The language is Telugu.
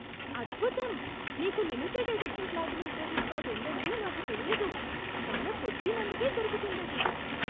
అద్భుతం! నీకు limited edition platinum credit card ఉందని నాకు తెలియదు. చాలా కొద్ది మందికే దొరుకుతుందది.